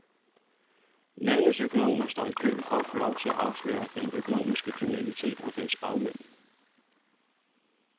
Landets økonomer står i kø for at få lov til at afsløre den økonomiske kriminalitet og dens bagmænd.